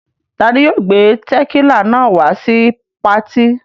Ta ni yóò gbé tẹ̀kílà náà wá sí patí?